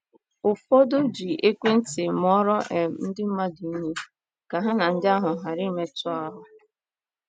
Ụfọdụ um ji ekwentị mụọrọ um ndị mmadụ ihe, ka ha na ndị ahụ ghara ịmetụ um ahụ́.